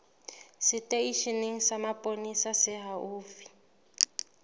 seteisheneng sa mapolesa se haufi